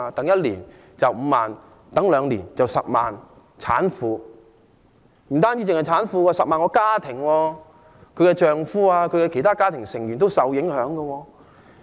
一年有5萬名孕婦，兩年便有10萬名產婦，這不單是涉及產婦，還涉及10萬個家庭，產婦的丈夫和其他家庭成員也受影響。